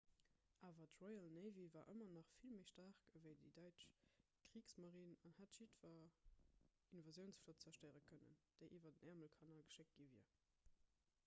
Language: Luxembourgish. awer d'royal navy war ëmmer nach vill méi staark ewéi d'däitsch kriegsmarine an hätt jiddwer invasiounsflott zerstéiere kënnen déi iwwer den äermelkanal geschéckt gi wier